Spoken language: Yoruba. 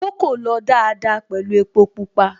Kókò lọ dáadáa pẹ̀lú epo Pupa